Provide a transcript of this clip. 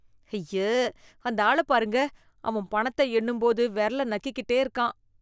ஐய! அந்த ஆள பாருங்க. அவன் பணத்த எண்ணும் போது வெரல நக்கிக்கிட்டே இருக்கான்.